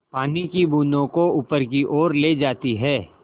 पानी की बूँदों को ऊपर की ओर ले जाती है